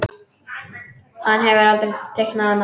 Hann hefur aldrei teiknað annað.